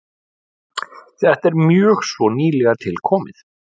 Þetta er mjög svo nýlega tilkomið.